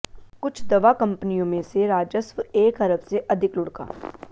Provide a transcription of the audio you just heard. कुछ दवा कंपनियों में से राजस्व एक अरब से अधिक लुढ़का